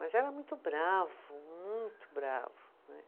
Mas era muito bravo, muito bravo, né?